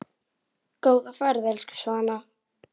Góða ferð, elsku Svana.